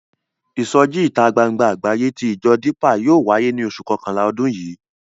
Ìsọjí ìta gbangba àgbáyé tí ìjọ Dípà yóò wáyé ní oṣù kọkànlá ọdún yìí.